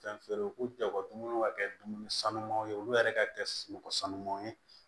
Fɛn feere u jago dumuniw ka kɛ dumuni sanumanw ye olu yɛrɛ ka kɛ sunɔgɔ sanumanw ye